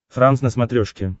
франс на смотрешке